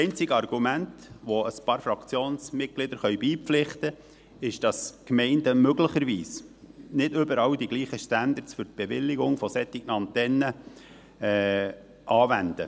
Das einzige Argument, dem ein paar Fraktionsmitglieder beipflichten können, ist, dass die Gemeinden möglicherweise nicht überall die gleichen Standards für die Bewilligung solcher Antennen anwenden.